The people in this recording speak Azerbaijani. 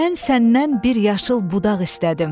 Mən səndən bir yaşıl budaq istədim.